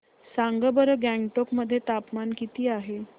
सांगा बरं गंगटोक मध्ये तापमान किती आहे